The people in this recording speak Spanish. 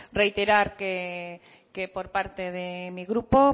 reiterar que por parte de mi grupo